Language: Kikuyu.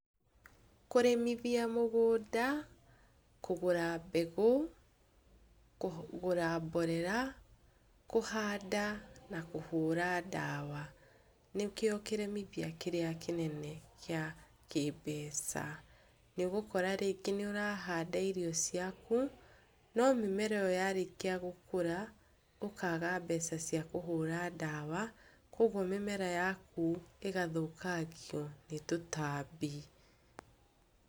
Kũrĩmithia mũgũnda, kũgũra mbegũ, kũgũra mborera, kũhanda na kũhũra ndawa, nĩkĩo kĩremithia kĩrĩa kĩnene gĩa kĩmbeca. Nĩũgũkora rĩngĩ nĩũrahanda irio ciaku, Nomĩmera ĩo yarĩkia gũkũra ũkaga mbeca cia kũhũra ndawa, koguo mĩmera yaku ĩgathũkangio nĩ tũtambi.